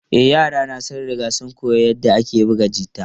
E, yarana sun riga sun koyi yadda ake buga gita.